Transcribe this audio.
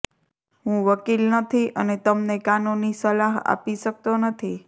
હું વકીલ નથી અને તમને કાનૂની સલાહ આપી શકતો નથી